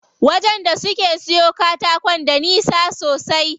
Wajen da suke siyo katakon da nisa sosai.